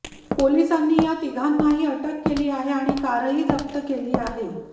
पोलिसांनी या तिघांनाही अटक केली आहे आणि कारही जप्त केली आहे